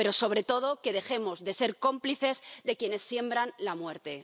Pero, sobre todo, que dejemos de ser cómplices de quienes siembran la muerte.